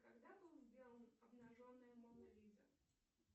когда был сделан обнаженная мона лиза